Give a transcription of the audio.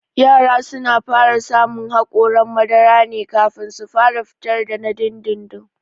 Yara suna fara samun haƙoran madara ne kafin su fitar da na dindindin